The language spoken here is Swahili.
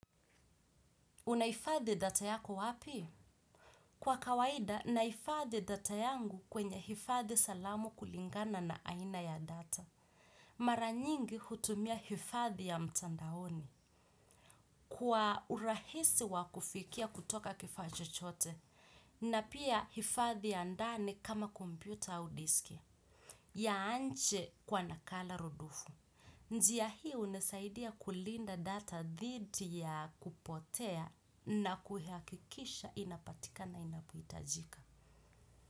Unahifadhi data yako wapi? Kwa kawaida, nahifadhi data yangu kwenye hifadhi salamu kulingana na aina ya data. Mara nyingi hutumia hifadhi ya mtandaoni. Kwa urahisi wa kufikia kutoka kifaa chochote, na pia hifadhi ya ndani kama kompyuta au diski. Ya anche kwa nakala rudufu. Njia hii hunisaidia kulinda data dhidi ya kupotea na kuhakikisha inapatika inapohitajika.